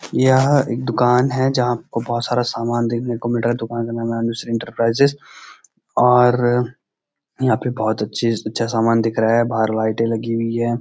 यह एक दुकान है जहां पे आपको बहोत सारा देखने को मिल रहा है दुकान का नाम है अनुश्री इंटरप्राइजेस और यहाँ पे बहोत अच्‍छी अच्‍छा सामान दिख रहा है बाहर लाईटे लगी हुई हैं।